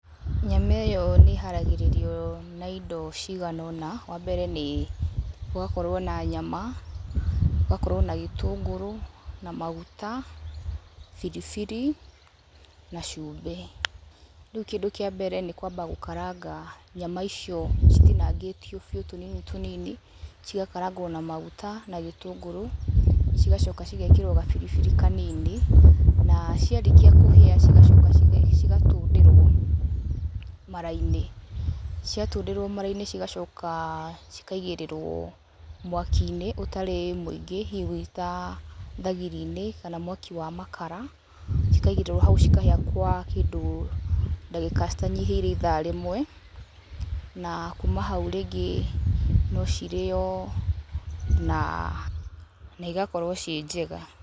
Nyama ĩyo nĩ ĩharagĩrĩrio na indo cigana ũna, wa mbere nĩ ũgakorwo na nyama, ũgakorwo na gĩtũngũrũ na maguta, biribiri na cumbĩ. Rĩu kĩndũ kĩa mbere nĩ kũamba gũkaranga nyama icio citinangĩtio biũ tũnini tũnini. cigakarangwo na maguta na gĩtũngũrũ, cigacoka cigekĩrwo gabiri biri kanini, na ciarĩkia kũhĩa cigacoka cigatũndĩrwo mara-inĩ. Ciatũndĩrwo mara-inĩ cigacoka cikaigĩrĩrwo mwaki-inĩ ũtarĩ mũingĩ hihi ũguo ta thagĩri-inĩ kana mwaki wa makara, cikaigĩrwo hau cikahĩa gwa kĩndũ ndagĩka citanyihĩire ithaa rĩmwe, na kuuma hau rĩngĩ no cirĩo, na igakorwo ciĩ njega.